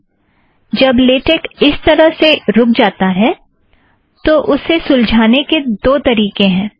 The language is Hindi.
अच्छा जब लेटेक इस तरह से रुक जाता है तब इसे सुलजाने के दो तरीकें हैं